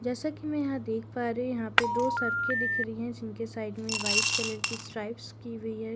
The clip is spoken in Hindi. जैसा कि मैं यहां देख पा रहे हो यहां पे दो सरके दिख रही हैं जिनके साइड में वाइट कलर की स्ट्राइप्स की हुई है।